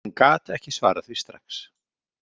Hún gat ekki svarað því strax.